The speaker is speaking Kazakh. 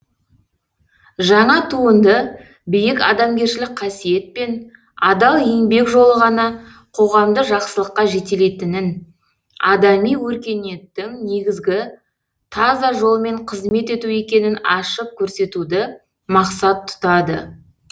жаңа туынды биік адамгершілік қасиет пен адал еңбек жолы ғана қоғамды жақсылыққа жетелейтінін адами өркениеттің негізі таза жолмен қызмет ету екенін ашып көрсетуді мақсат тұтады